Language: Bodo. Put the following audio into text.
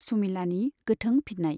सुमिलानि गोथों फिननाय।